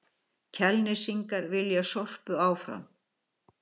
Kjalnesingar vilja Sorpu áfram